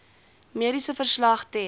mediese verslag ten